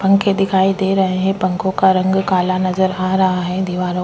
पंखे दिखाई दे रहे है पंखो का रंग काला नजर आ रहा है दिवारों --